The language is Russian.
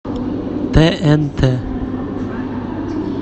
тнт